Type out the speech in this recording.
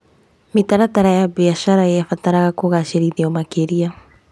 Mĩtaratara ya biacara yabataraga kũgacĩrithio makĩria.